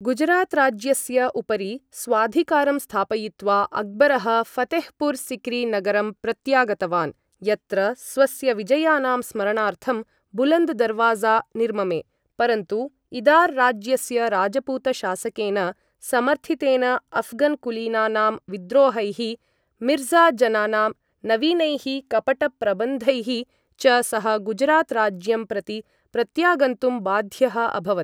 गुजरात् राज्यस्य उपरि स्वाधिकारं स्थापयित्वा, अक्बरः फ़तेहपुर् सिक्री नगरं प्रत्यागतवान्, यत्र स्वस्य विजयानां स्मरणार्थं बुलन्द् दरवाज़ा निर्ममे, परन्तु इदार् राज्यस्य राजपूतशासकेन समर्थितेन अऴ्घन् कुलीनानां विद्रोहैः, मिर्ज़ा जनानां नवीनैः कपटप्रबन्धैः च सः गुजरात् राज्यं प्रति प्रत्यागन्तुं बाध्यः अभवत्।